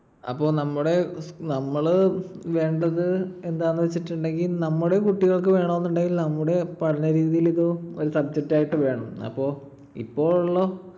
അപ്പൊ നമ്മുടെ നമ്മൾ വേണ്ടത് എന്താന്നു വെച്ചിട്ടുണ്ടെങ്കിൽ നമ്മുടെ കുട്ടികൾക്ക് വേണമെന്നുണ്ടെങ്കിൽ നമ്മുടെ പഠനരീതിയിൽ ഇത് ഒരു subject ആയിട്ട് വേണം. അപ്പൊ ഇപ്പൊ ഉള്ള